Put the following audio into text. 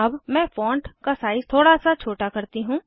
अब मैं फॉण्ट का साइज़ थोड़ा सा छोटा करती हूँ